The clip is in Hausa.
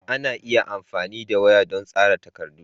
Ana iya amfani da waya don tsara takardu.